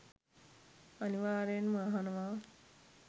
අනිවාර්යයෙන්ම අහනවා.